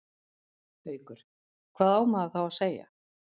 Haukur: Hvað á maður þá að segja?